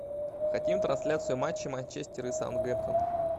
хотим трансляцию матча манчестер и саутгемптон